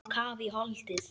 Á kaf í holdið.